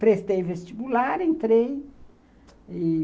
Prestei vestibular, entrei. E